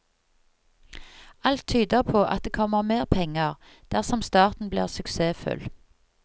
Alt tyder på at det kommer mer penger, dersom starten blir suksessfull.